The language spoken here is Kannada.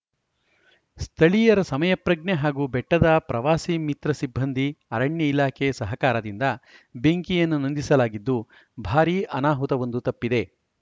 ಸ್ಥಳೀಯರ ಸಮಯ ಪ್ರಜ್ಞೆ ಹಾಗೂ ಬೆಟ್ಟದ ಪ್ರವಾಸಿ ಮಿತ್ರ ಸಿಬ್ಬಂದಿ ಅರಣ್ಯ ಇಲಾಖೆ ಸಹಕಾರದಿಂದ ಬೆಂಕಿಯನ್ನು ನಂದಿಸಲಾಗಿದ್ದು ಭಾರಿ ಅನಾಹುತವೊಂದು ತಪ್ಪಿದೆ